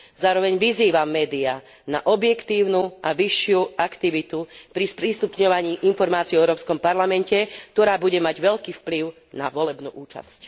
Zároveň vyzývam média na objektívnu a vyššiu aktivitu pri sprístupňovaní informácií o Európskom parlamente, ktorá bude mať veľký vplyv na volebnú účasť.